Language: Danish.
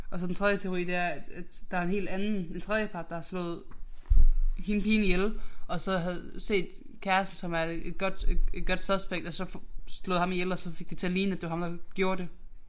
Og så den tredje teori det er at at der er en helt anden en tredjepart der har slået hende pigen ihjel og så havde set kæresten som er et godt et godt suspect og så slået ham ihjel og fik det til at lige at det var ham der gjorde det